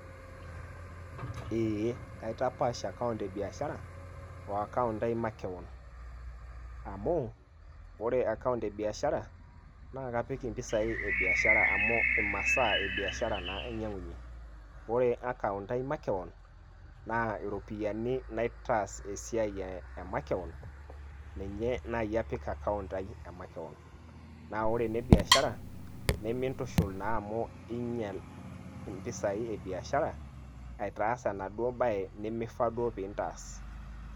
Ee. Kaitapash account ebiashara,o account ai makeon. Amu, ore account ebiashara, na kapik impisai ebiashara amu imasaa ebiashara naa ainyang'unye. Ore naa account ai makeon, na iropiyiani naitaas esiai e makeon, ninye nai apik account ai e makeon. Na ore ene biashara, nimintushul naa amu iinyal impisai ebiashara, aitaas enaduo bae nimifaa duo pe intaas.